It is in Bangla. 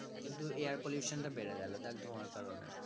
কিন্তু air pollution টা বেড়ে গেল দেখ ধোয়ার কারণে